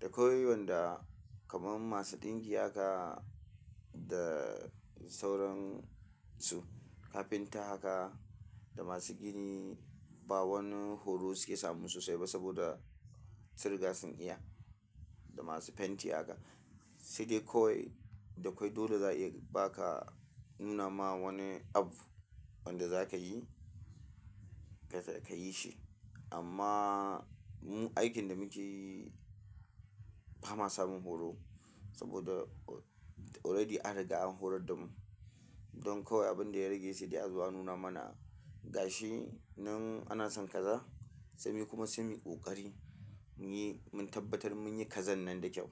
da kwai wanda kamar masu ɗinki haka da sauran su, carpenter haka da masu gini ba wani horo suke samun sosai ba saboda sun riga sun iya da masu fenti haka. Sai dai kawai da kwai dole za a iya ba ka nuna ma wani abu wanda za ka yi ka yi shi. Amma mu aikin da muke yi ba ma samun horo saboda already an riga an horar da mu. Don kawai abin da ya rage sai dai azo a nuna mana gashi. Nan ana son kaza sai mu kuma sai muyi ƙoƙari mu yi, mun tabbatar mu yi kazan nan da kyau.